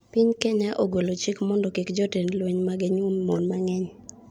Piny Kenya ogolo chik mondo kik jotend lweny mage nyuom mon mang'eny